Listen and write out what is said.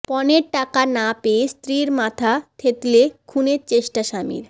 পণের টাকা না পেয়ে স্ত্রীর মাথা থেঁতলে খুনের চেষ্টা স্বামীর